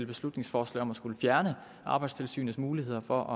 beslutningsforslag om at skulle fjerne arbejdstilsynets muligheder for